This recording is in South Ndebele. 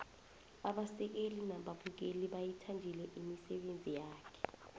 abasekeli nababukeli bayithandile imisebenzi yakhe